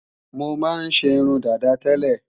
Mọ máa ń ṣe irun dàda tẹ́lẹ̀